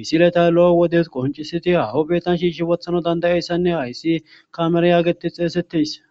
misileta lo7o wodes qoncisiti hahobeetan shiishi wothana dandayayssanne hayssi kamere yaagetes xeesetteys.